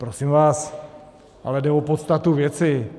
Prosím vás, ale jde o podstatu věci.